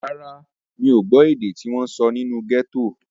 Rárá, mi ò gbọ́ èdè tí wọ́n sọ nínú gẹ́tò.